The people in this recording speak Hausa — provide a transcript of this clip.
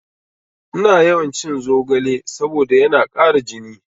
Ina yawan cin zogale saboda yana ƙara jini